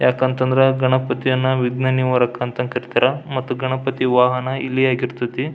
ಯಾಕಂತಂದ್ರ ಗಣಪತಿಯನ್ನ ವಿಗ್ನ ನಿವಾರಕ ಅಂತ ಕರೀತಾರ ಮತ್ತು ಗಣಪತಿ ವಾಹನ ಇಲಿ ಆಗಿರತೈತಿ.